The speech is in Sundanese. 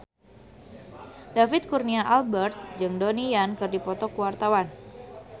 David Kurnia Albert jeung Donnie Yan keur dipoto ku wartawan